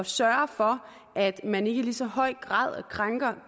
sørges for at man ikke i så høj grad krænker